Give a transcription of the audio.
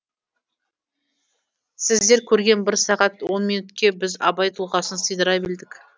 сіздер көрген бір сағатон минутке біз абай тұлғасын сыйдыра білдік